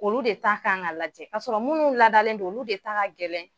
Olu de ta kan ka lajɛ k'a sɔrɔ minnu ladalen don olu de ka gɛlɛn.